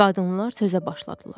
Qadınlar sözə başladılar.